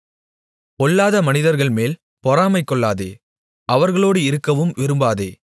பொல்லாத மனிதர்கள்மேல் பொறாமைகொள்ளாதே அவர்களோடு இருக்கவும் விரும்பாதே